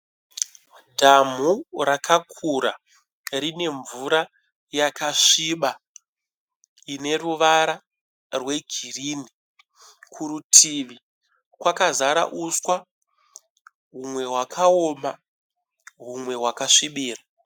Dhamhu rakakura rine mvura yakasbiba ine ruvara rwegirinhi. Kurutivi kwakazara uswa humwe hwakaoma humwe hwakasvibira.